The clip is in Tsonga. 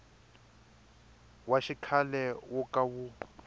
wa xikhale wo ka wu